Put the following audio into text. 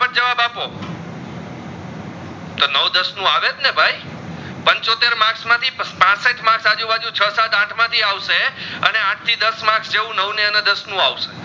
દસ નું અવાજ ને ભાઈ પંચોતેર માર્કસ માં થી પાસઠ marks આજુબાજુ છો, સેત, આઠ માં થી અવસે અને આઠ થી નવ marks જેવુ નવનું દસ નું અવસે